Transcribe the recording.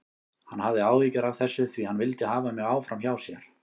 Hann hafði áhyggjur af þessu því hann vildi hafa mig áfram hjá sér.